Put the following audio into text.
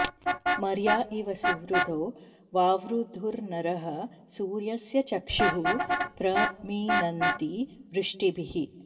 मर्या इव सुवृधो वावृधुर्नरः सूर्यस्य चक्षुः प्र मिनन्ति वृष्टिभिः